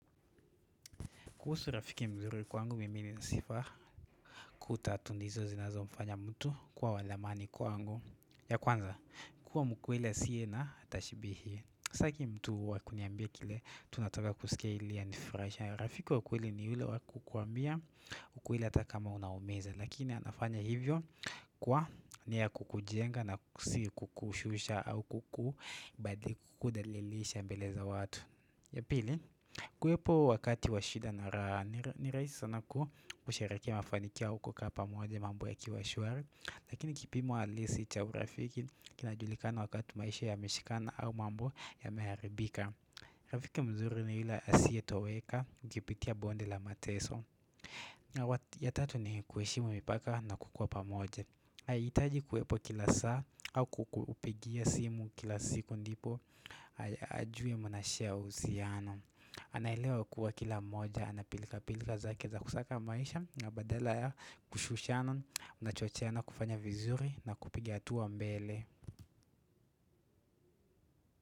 Kuhusu rafiki mzuri kwangu mimi ni sifa kutatundizo zinazo mfanya mtu kuwa wadhamani kwangu ya kwanza kuwa mkweli asiye na tashibihi Sitaki mtu wakuniambia kile tunataka kusikie ili ya anifuraishe ya rafiki wakweli ni hile wakukuambia ukweli hata kama unaumiza Lakini anafanya hivyo kwa ni ya kukujenga na si kukushusha au kuku badi kukudalilisha mbele za watu ya pili, kuwepo wakati wa shida na raha ni rahisi sana ku kusharekia mafanikio au kukaa pamoja mambo yakiwa shuari Lakini kipimo alisi cha urafiki kinajulikana wakati maisha ya mishikana au mambo yameharibika Rafiki mzuri ni ela asiye toweka ukipitia bonde la mateso ya tatu ni kuweshimu mipaka na kukua pa moja Ayitaji kuwepo kila saa au kukupigia simu kila siku ndipo ajui munashia uhusiano Anailewa ya kuwa kila moja, anapilika pilika zake za kusaka maisha na badala ya kushushana, unachochiana kufanya vizuri na kupigia hatua mbele.